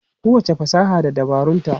Kowacce fasaha da dabarunta.